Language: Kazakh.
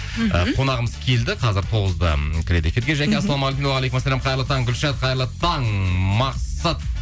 мхм і қонағымыз келді қазір тоғызда кіреді эфирге жаке ассалаумағалейкум уағалейкумассалам қайырлы таң гүлшат қайырлы таң мақсат